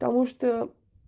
потому что